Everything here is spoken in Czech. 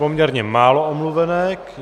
Poměrně málo omluvenek.